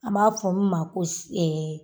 An b'a fɔ n ma ko si